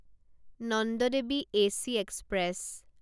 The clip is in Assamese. Nanda Devi A C express